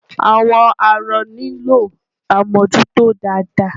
Àwọn arọ nílò àmújútó dáadáa.